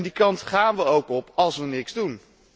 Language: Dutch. Die kant gaan we ook op als we niets doen.